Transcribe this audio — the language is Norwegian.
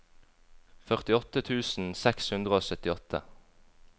førtiåtte tusen seks hundre og syttiåtte